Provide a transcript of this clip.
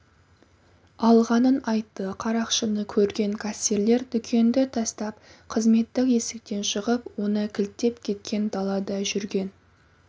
алғанын айтты қарақшыны көрген кассирлер дүкенді тастап қызметтік есіктен шығып оны кілттеп кеткен далада жүрген